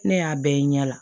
Ne y'a bɛɛ ye ɲɛ la